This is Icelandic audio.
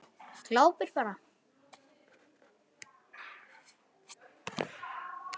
Glápir bara.